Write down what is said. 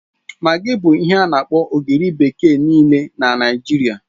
Magi bụ ihe ana-akpọ ogiri bekee nịịle n'Naijiria